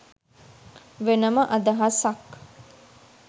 වෙනම අදහසක්.